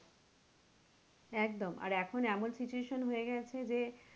একদম আর এখন এমন situation হয়ে গেছে যে,